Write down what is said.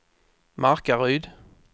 Markaryd